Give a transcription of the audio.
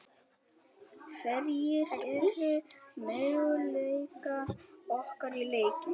Hverjir eru möguleikar okkar í leiknum?